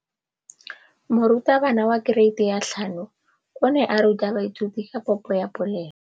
Moratabana wa kereiti ya 5 o ne a ruta baithuti ka popô ya polelô.